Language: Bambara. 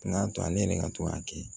O y'a to ale yɛrɛ ka to k'a kɛ